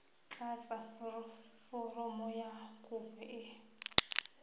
tlatsa foromo ya kopo e